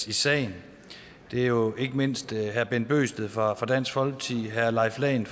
i sagen det er jo ikke mindst herre bent bøgsted fra dansk folkeparti herre leif lahn